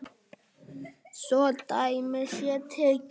Svo dæmi sé tekið.